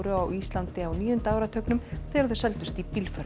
á Íslandi á níunda áratugnum þegar þau seldust í